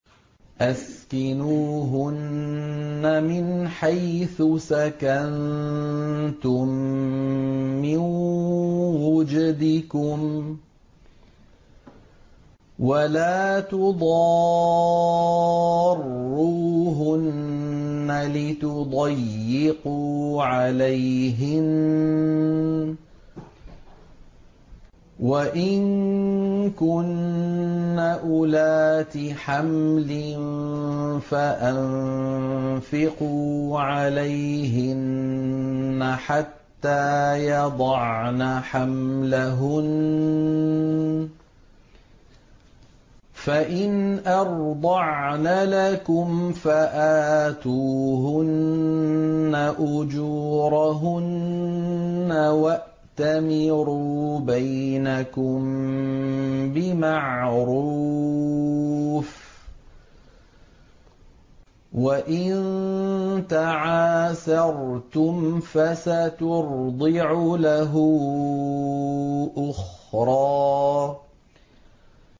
أَسْكِنُوهُنَّ مِنْ حَيْثُ سَكَنتُم مِّن وُجْدِكُمْ وَلَا تُضَارُّوهُنَّ لِتُضَيِّقُوا عَلَيْهِنَّ ۚ وَإِن كُنَّ أُولَاتِ حَمْلٍ فَأَنفِقُوا عَلَيْهِنَّ حَتَّىٰ يَضَعْنَ حَمْلَهُنَّ ۚ فَإِنْ أَرْضَعْنَ لَكُمْ فَآتُوهُنَّ أُجُورَهُنَّ ۖ وَأْتَمِرُوا بَيْنَكُم بِمَعْرُوفٍ ۖ وَإِن تَعَاسَرْتُمْ فَسَتُرْضِعُ لَهُ أُخْرَىٰ